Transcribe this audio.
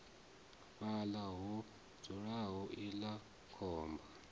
fhaḽa ho dzulaho iḽla khomba